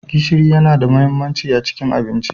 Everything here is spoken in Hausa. Gishiri yana da mahimmanci a cikin abinci.